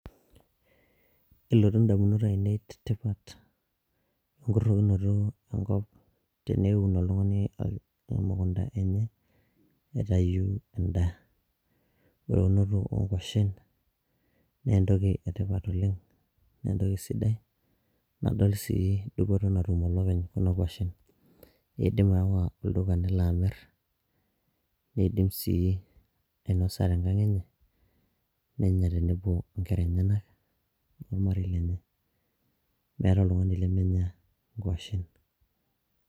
kelotu indamunot ainei tepitat enkurrokinoto enkop teneun oltung'ani emukunta enye aitayu endaa ore eunoto onkuashen naa entoki etipat oleng nentoki sidai nadol sii dupoto natum olopeny kuna kuashen idim aawa olduka nelo amirr neidim sii ainosa tenkang enye nenya tenebo onkera enyenak ormarei lenye meeta oltung'ani lemenya inkuashen.